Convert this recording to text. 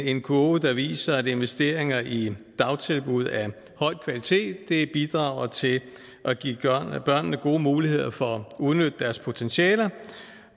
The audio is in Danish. en kurve der viser at investeringer i dagtilbud af høj kvalitet bidrager til at give børnene gode muligheder for at udnytte deres potentialer